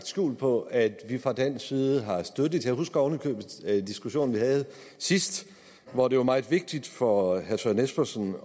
skjul på at vi fra dansk side har støttet jeg husker oven i købet diskussionen vi havde sidst hvor det var meget vigtigt for herre søren espersen